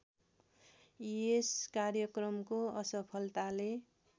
र यस कार्यक्रमको असफलताले